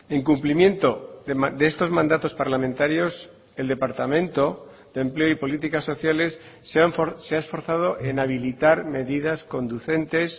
en cumplimiento de estos mandatos parlamentarios el departamento de empleo y políticas sociales se ha esforzado en habilitar medidas conducentes